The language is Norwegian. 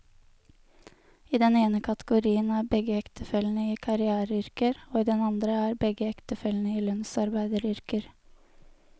I den ene kategorien er begge ektefellene i karriereyrker, og i den andre er begge ektefellene i lønnsarbeideryrker.